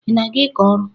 Ị na-aga ịkọ ọrụ?